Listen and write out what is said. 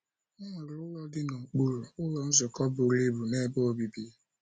O nwere ụlọ dị n’okpuru, Ụlọ Nzukọ buru ibu na ebe obibi.